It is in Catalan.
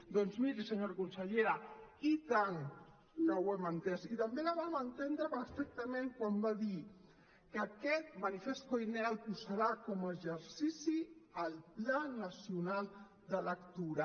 doncs miri senyora consellera i tant que ho hem entès i també la vam entendre perfectament quan va dir que aquest manifest koiné el posarà com a exercici al pla nacional de lectura